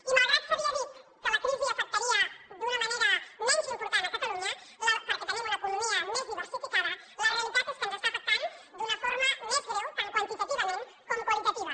i malgrat que s’havia dit que la crisi afectaria d’una manera menys important catalunya perquè tenim una economia més diversificada la realitat és que ens està afectant d’una forma més greu tant quantitativament com qualitativa